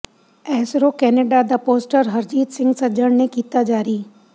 ISRO Canada ਦਾ poster Harjit Singh Sajjan ਨੇ ਕੀਤਾ ਜਾਰੀ